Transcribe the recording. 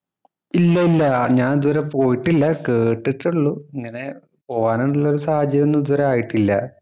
ഇല്ല ഇല്ല. ഞാനിതുവരെ പോയിട്ടില്ല. കേട്ടിട്ടേ ഉള്ളൂ. ഇങ്ങനെ പോവാനുള്ള സാഹചര്യം ഒന്നും ഇതുവരെ ആയിട്ടില്ല.